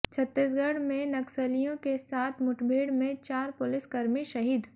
छत्तीसगढ़ में नक्सलियों के साथ मुठभेड़ में चार पुलिस कर्मी शहीद